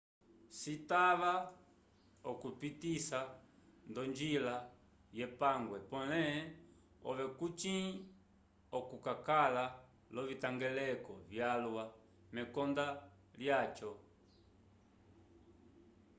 citava okuyipitisa nd'onjila yepangwe pole ove kucĩ okakala l'ovitangeleko vyalwa mekonda lyaco